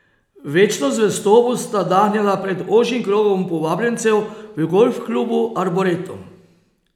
Večno zvestobo sta dahnila pred ožjim krogom povabljencev v golf klubu Arboretum.